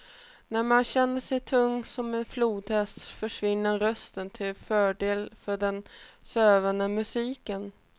När man känner sig tung som en flodhäst försvinner rösten, till fördel för den sövande musiken.